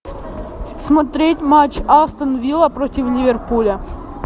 смотреть матч астон вилла против ливерпуля